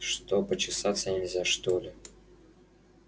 что почесаться нельзя что ли